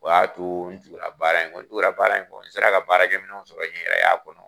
U y'a to n tugula baara in kɔ, n tugula baara in kɔ, n sera ka baarakɛminɛnw sɔrɔ n yɛrɛ y'a kɔnɔ.